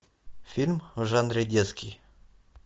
фильм в жанре детский